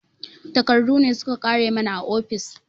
Takardu ne su ka ƙare mana a ofis